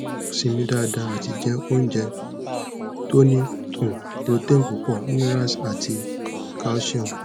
simi dada ati jẹ ounjẹ to ni um protein púpọ̀ minerals ati calcium